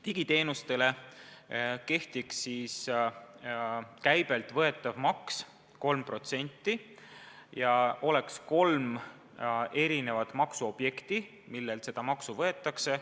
Digiteenustele kehtiks käibelt võetav maks 3% ja oleks kolm maksuobjekti, millelt seda maksu võetakse.